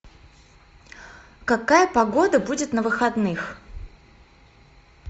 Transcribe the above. какая погода будет на выходных